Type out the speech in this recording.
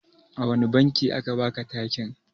A wane banki a ka baku takin?